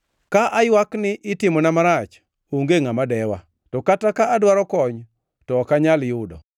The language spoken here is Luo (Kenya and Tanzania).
“Ka aywak ni, ‘Itimona marach!’ Onge ngʼama dewa; to kata ka adwaro kony, to ok anyal yudo.